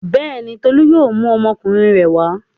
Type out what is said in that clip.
Bẹ́ẹ̀ni, Tolú yóò mú ọmọkùnrin rẹ̀ wá.